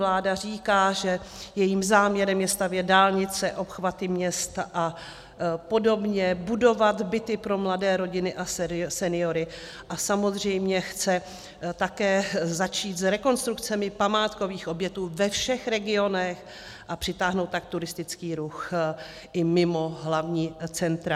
Vláda říká, že jejím záměrem je stavět dálnice, obchvaty měst a podobně, budovat byty pro mladé rodiny a seniory a samozřejmě chce také začít s rekonstrukcemi památkových objektů ve všech regionech, a přitáhnout tak turistický ruch i mimo hlavní centra.